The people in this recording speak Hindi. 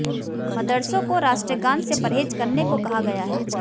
मदरसों को राष्ट्रगान से परहेज करने को कहा गया है